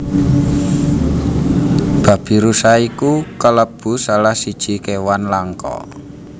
Babirusa iku kalebu salah siji kewan langka